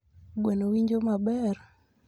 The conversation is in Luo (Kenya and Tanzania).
Gweno winjo maber